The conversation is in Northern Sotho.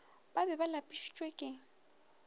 ba be ba lapišitšwe ke